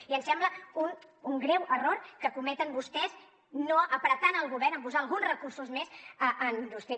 i ens sembla un greu error que cometen vostès no apretant el govern en posar alguns recursos més en indústria